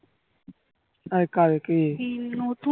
আর কারে কে